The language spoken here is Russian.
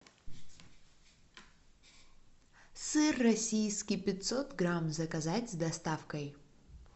сыр российский пятьсот грамм заказать с доставкой